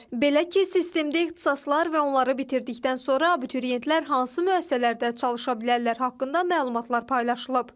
Belə ki, sistemdə ixtisaslar və onları bitirdikdən sonra abituriyentlər hansı müəssisələrdə çalışa bilərlər haqqında məlumatlar paylaşılıb.